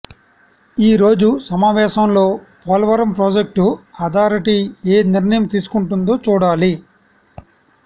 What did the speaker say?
ఈరోజు సమావేశంలో Polavaram project authority ఏం నిర్ణయం తీసుకుంటుందో చూడాలి